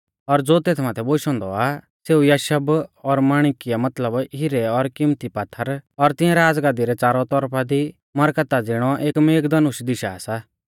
और ज़ो तेथ माथै बोशौ औन्दौ आ सेऊ यशब और माणिक्या मतलब हिरै और किम्मती पात्थर और तिंऐ राज़गद्दी रै च़ारौ तौरफा दी मरकता ज़िणौ एक मेघधनुष दिशा सा